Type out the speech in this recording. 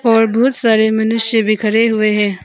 और बहुत सारे मनुष्य भी खड़े हुए हैं।